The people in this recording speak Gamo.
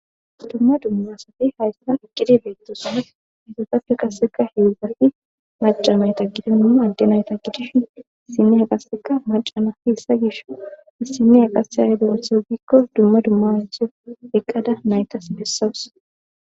Dumma dummasati hayssan eqqidi beettosane hetotappe qasseka hewugati maca mayta gide numa adde nayta gideshin issiniya qasseka macana hihissa gish issiniya qasse yahede othe gikko dumma dumma anteo eqqada naytas bessawus.